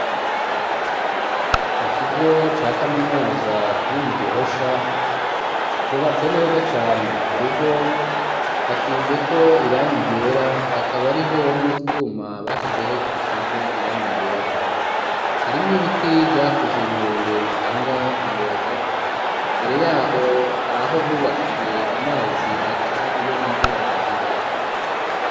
Mu kigo ca kaminuza kiri mu gihosha cubatse neza cane ku rugo hasizeko irangi ryera hakaba hariho n'utwuma bashizeho dusize irangi ryera harimwo ibiti vyakuze birebire bitanga umuyaga imbere yaho haraho bubakiye amazi aca iyo imvura igwa.